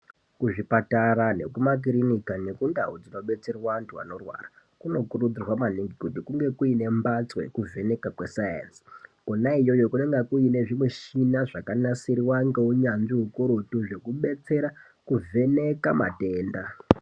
Kuzvipatara nekumakirinika nekundau dzonodetserwe anthu anorwara kunokurudzirwa maningi kuti kunge kuine mphatso yekuvhenwka kweSainzi Kona iyoyo kunenge kuine zvimushina zvakanasirwa ngeunyanzvi hukurutu zvekudetsera kuvheneka matenda.